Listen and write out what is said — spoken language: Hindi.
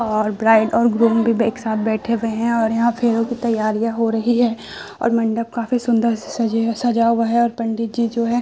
और ब्राइड और ग्रूम बिब एक साथ बैठे हुए हैं और यहां फेरों की तैयारियां हो रही है और मंडप काफी सुंदर से सजे सजा हुआ है और पंडित जी जो है --